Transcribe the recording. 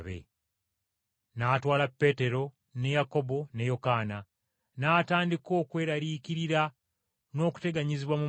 N’atwala Peetero, ne Yakobo ne Yokaana; n’atandika okweraliikirira n’okuteganyizibwa mu mutima.